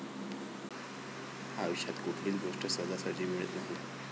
आयुष्यात कुठलीच गोष्ट सहजासहजी मिळत नाही.